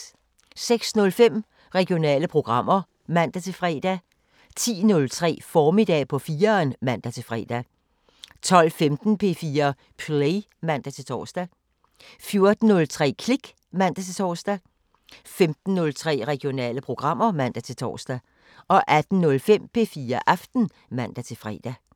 06:05: Regionale programmer (man-fre) 10:03: Formiddag på 4'eren (man-fre) 12:15: P4 Play (man-tor) 14:03: Klik (man-tor) 15:03: Regionale programmer (man-tor) 18:05: P4 Aften (man-fre)